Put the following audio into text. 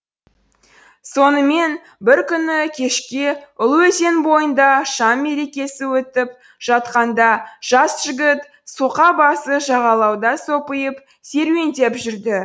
сонымен бір күні кешке ұлы өзен бойында шам мерекесі өтіп жатқанда жас жігіт соқа басы жағалауда сопиып серуендеп жүрді